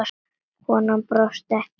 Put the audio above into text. Konan brosir ekki.